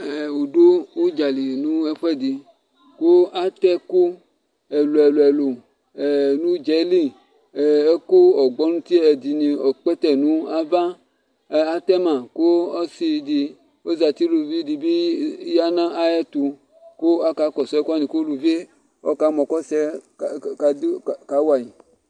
wo du udzali no ɛfu ɛdi kò ato ɛkò ɛlò ɛlò ɛlò no udza yɛ li ɛkò ɔgbɔnti ɛdini ɔkpɛtɛ no ava k'atɛ ma kò ɔsi di ozati uluvi di bi ya n'ayi ɛto kò aka kɔsu ɛkò wani k'uluvi yɛ ɔka mɔ k'ɔsi yɛ ka wa yi